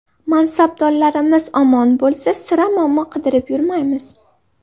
Mansabdorlarimiz omon bo‘lsa, sira muammo qidirib yurmaymiz.